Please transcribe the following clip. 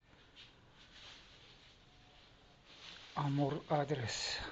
амурр адрес